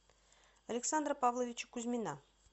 александра павловича кузьмина